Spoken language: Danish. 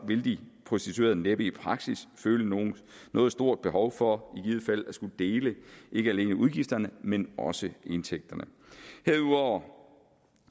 vil de prostituerede næppe i praksis føle noget stort behov for i givet fald at skulle dele ikke alene udgifterne men også indtægterne herudover